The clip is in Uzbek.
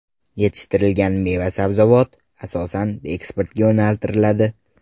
Yetishtirilgan meva-sabzavot asosan eksportga yo‘naltiriladi.